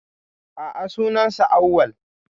A'a, sunan sa Awwal